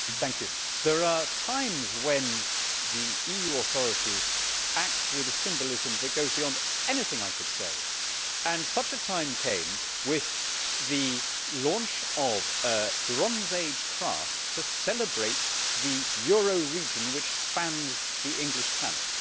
Mr President, there are times when the EU authorities act with a symbolism that goes beyond anything I could say, and such a time came with the launch of a Bronze Age craft to celebrate the Euro region which spans the English Channel.